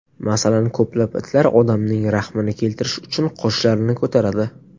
Masalan, ko‘plab itlar odamning rahmini keltirish uchun qoshlarini ko‘taradi.